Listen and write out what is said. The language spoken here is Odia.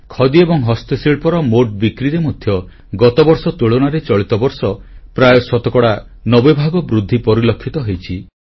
ଖଦି ଏବଂ ହସ୍ତଶିଳ୍ପର ମୋଟ ବିକ୍ରିରେ ମଧ୍ୟ ଗତବର୍ଷ ତୁଳନାରେ ଚଳିତ ବର୍ଷ ପ୍ରାୟ ଶତକଡ଼ା 90 ଭାଗ ବୃଦ୍ଧି ପରିଲକ୍ଷିତ ହୋଇଛି